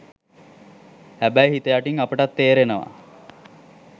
හැබැයි හිත යටින් අපටත් තේරෙනවා